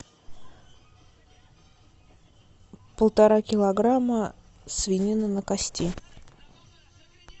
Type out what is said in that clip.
полтора килограмма свинины на кости